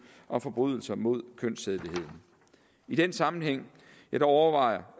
om forbrydelser mod kønssædeligheden i den sammenhæng overvejer